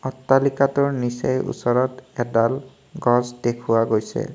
অট্টালিকাটোৰ নিচেই ওচৰত এডাল গছ দেখুওৱা গৈছে।